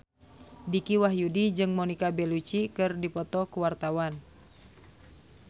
Dicky Wahyudi jeung Monica Belluci keur dipoto ku wartawan